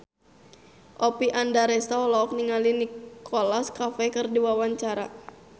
Oppie Andaresta olohok ningali Nicholas Cafe keur diwawancara